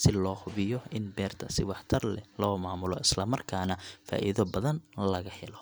si loo hubiyo in beerta si waxtar leh loo maamulo, isla markaana faa’iido badan laga helo.